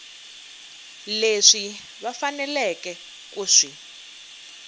leswi va faneleke ku swi